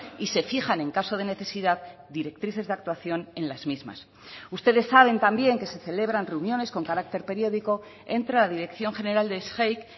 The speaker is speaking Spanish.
y se fijan en caso de necesidad directrices de actuación en las mismas ustedes saben también que se celebran reuniones con carácter periódico entre la dirección general de sgeic